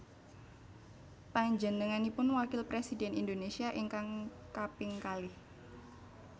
Panjenenganipun Wakil Presidhèn Indonésia ingkang kaping kalih